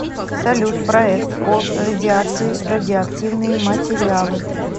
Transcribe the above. салют проект о радиации радиоактивные материалы